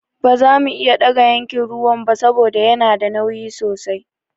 Ba zamu iya ɗaga yankin ruwan ba saboda yana da nauyi sosai.